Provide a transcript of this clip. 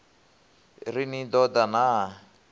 ri ni ḓo ḓa na